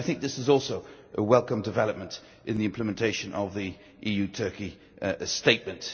I think this is also a welcome development in the implementation of the EU Turkey Statement.